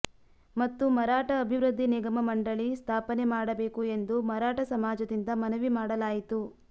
ಮತ್ತು ಮರಾಠ ಅಭಿವೃದ್ಧಿ ನಿಗಮ ಮಂಡಳಿ ಸ್ಥಾಪನೆ ಮಾಡಬೇಕು ಎಂದು ಮರಾಠ ಸಮಾಜದಿಂದ ಮನವಿ ಮಾಡಲಾಯಿತು